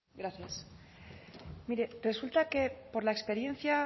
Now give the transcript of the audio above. gracias mire resulta que por la experiencia